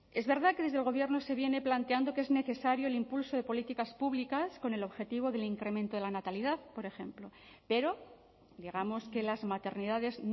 es verdad que desde el gobierno se viene planteando que es necesario el impulso de políticas públicas con el objetivo del incremento de la natalidad por ejemplo pero digamos que las maternidades